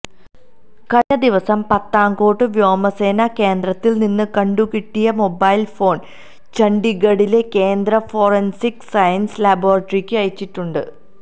കഴിഞ്ഞ ദിവസം പത്താന്കോട്ട് വ്യോമസേനാ കേന്ദ്രത്തില് നിന്ന് കണ്ടുകിട്ടിയ മൊബൈല് ഫോണ് ചണ്ഡിഗഢിലെ കേന്ദ്ര ഫോറന്സിക് സയന്സ് ലബോറട്ടറിക്ക് അയച്ചിട്ടുണ്ട്